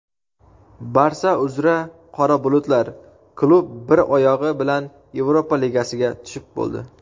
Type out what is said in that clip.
"Barsa" uzra "qora bulutlar": klub "bir oyog‘i" bilan Yevropa ligasiga tushib bo‘ldi.